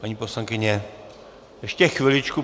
Paní poslankyně, ještě chviličku.